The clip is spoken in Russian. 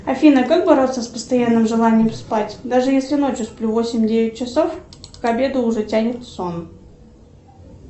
афина как бороться с постоянным желанием спать даже если ночью сплю восемь девять часов к обеду уже тянет в сон